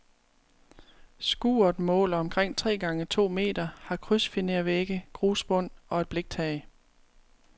Skuret måler omkring tre gange to meter, har krydsfinervægge, grusbund og et bliktag.